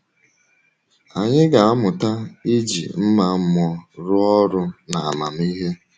Anyị ga-amụta iji mma mmụọ rụọ ọrụ n’amamihe.